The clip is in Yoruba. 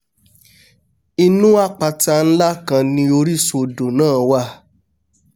inú àpáta nlá kan ni orísun odò náà wà